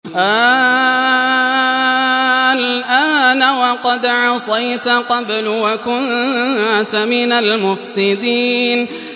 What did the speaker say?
آلْآنَ وَقَدْ عَصَيْتَ قَبْلُ وَكُنتَ مِنَ الْمُفْسِدِينَ